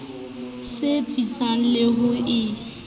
sa tsitsang le ha e